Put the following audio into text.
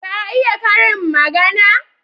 Ka iya karin magana?